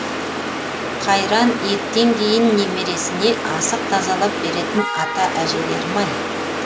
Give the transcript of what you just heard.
қайран еттен кейін немересіне асық тазалап беретін ата әжелерім ай